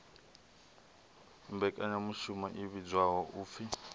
mmbekanyamushumo i vhidzwaho u p